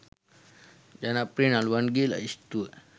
ජනප්‍රිය නළුවන්ගේ ලැයිස්තුව